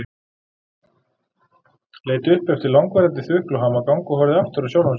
Leit upp eftir langvarandi þukl og hamagang og horfði aftur á sjálfan sig.